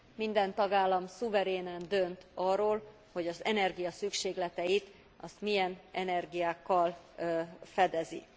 Minden tagállam szuverénen dönt arról, hogy az energia szükségleteit milyen energiákkal fedezi.